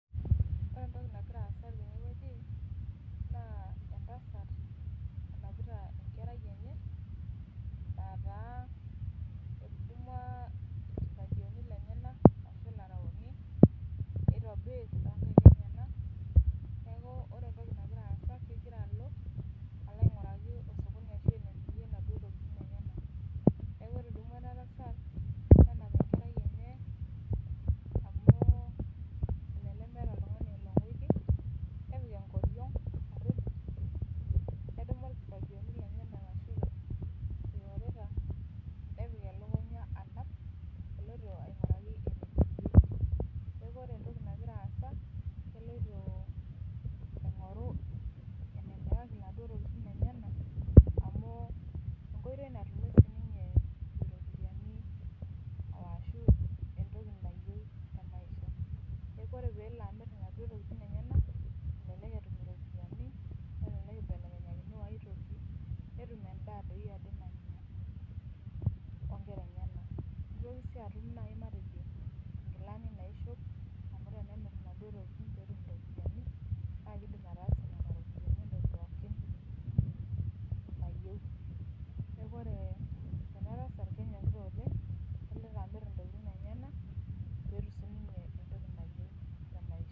Ore entoki nagira aasa teneweji naa entasat nanapita enkerai enye, aata etudumua irkifagioni lenyenak ashu laraoni nitobir toonkaek enyenak ,neeku otre entoki nagira aasa kegira alo ainguraki sokoni ashu enemirie naduo tokiting enyenak. Neeku etudumua ena tasat ,nenap enkerai enye amu elelek meeta oltungani oinguiki, nepik enkoriong nedumuni irkifangioni lenyenak ashu oreta ,nepik elukunya anap eloito ainguraki sokoni. Neeku ore enagira aasa ,keloito aingoru enemiraki laduo tokiting lenyenak amu enkoitoi natumie siininye ropiyiani ashu entoki nayieu temaisha,.Neeku ore pee elo amir naduo tokiting enyenak ,elelek etum iropiyiani, elelek eibelekenyakini ooitoki ,netum doi endaa nanya onkera enyenak. Nitoki sii atum nkilani naishop ,amu tenemir naduo tokiting naa kidim ataasie nena ropiyiani entoki pookin nayieu. Neeku ore enatasat, kenyokita olengkeloito amir ntokiting enyenak pee etum siininye entoki nayieu temaisha.